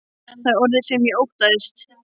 Það er orðið sem ég óttaðist.